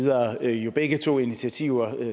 er jo begge to initiativer